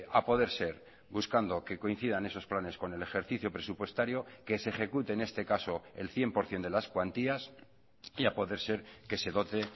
a poder ser buscando que coincidan esos planes con el ejercicio presupuestario que se ejecute en este caso el cien por ciento de las cuantías y a poder ser que se dote